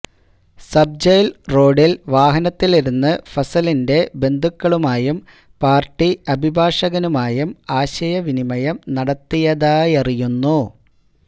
sub jail റോഡില് വാഹനത്തിലിരുന്ന് ഫസലിന്റെ ബന്ധുക്കളുമായും പാര്ട്ടി അഭിഭാഷകനുമായും ആശയവിനിമയം നടത്തിയതായറിയുന്നു